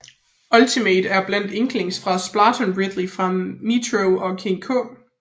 Ultimate er blandt andre Inklings fra Splatoon Ridley fra Metroid og King K